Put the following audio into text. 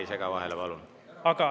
… on 34%.